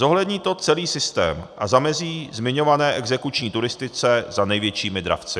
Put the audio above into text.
Zohlední to celý systém a zamezí zmiňované exekuční turistice za největšími dravci.